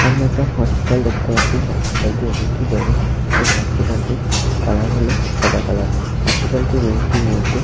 সামনে একটা হসপিটাল দেখতে পাচ্ছি হসপিটাল -টি অনেকটি বড় এবং হসপিটাল -টির কালার হলো সাদা কালার হসপিটাল -টির রুম -টির মধ্যে--